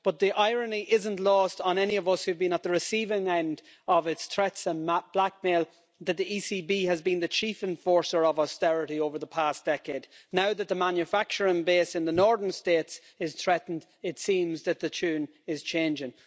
But the irony isn't lost on any of us who have been at the receiving end of its threats and blackmail that the ECB has been the chief enforcer of austerity over the past decade. Now that the manufacturing base in the northern states is threatened, it seems that the tune is changing.